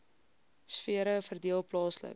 sfere verdeel plaaslik